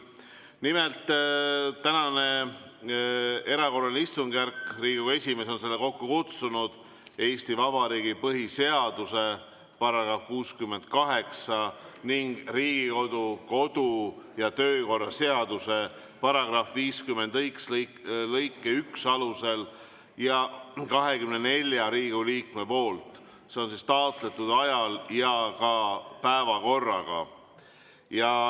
Nimelt, täna on erakorraline istungjärk, Riigikogu esimees on selle kokku kutsunud Eesti Vabariigi põhiseaduse § 68 ning Riigikogu kodu‑ ja töökorra seaduse § 51 lõike 1 alusel ja 24 Riigikogu liikme taotletud ajal ja päevakorraga.